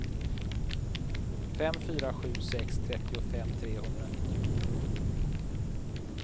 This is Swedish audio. fem fyra sju sex trettiofem trehundranittionio